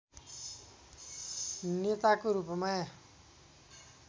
नेताको रूपमा